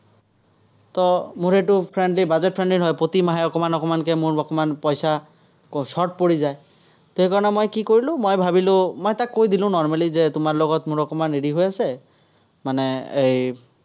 মোৰ এইটো friendly buget-friendly হয়, প্ৰতি মাহে অকণমান অকণমানকে মোৰ অকণমান পইচা short পৰি যায়। সেইকাৰণে মই কি কৰিলো, মই ভাৱিলো, মই তাক কৈ দিলো normally যে তোমাৰ লগত মোৰ অকণমান হেৰিহৈ আছে, মানে এই